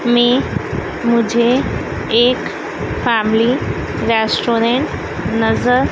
में मुझे एक फैमिली रेस्टोरेंट नजर--